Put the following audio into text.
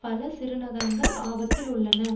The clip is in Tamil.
பல சிறுநகரங்கள் ஆபத்தில் உள்ளன